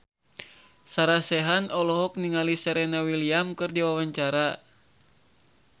Sarah Sechan olohok ningali Serena Williams keur diwawancara